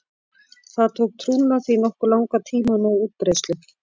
Það tók trúna því nokkuð langan tíma að ná útbreiðslu.